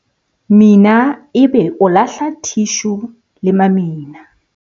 mina ebe o lahla thishu le mamina